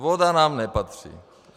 Voda nám nepatří.